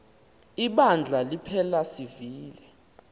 ibandla liphela sivile